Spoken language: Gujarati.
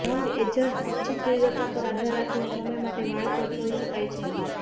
રંગ એજન્ટ ઇચ્છિત તીવ્રતા પર આધાર રાખીને સમય માટે વાળ પર છોડી શકાય છે